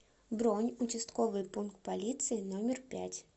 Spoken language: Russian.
бронь участковый пункт полиции номер пять